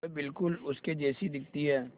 वह बिल्कुल उसके जैसी दिखती है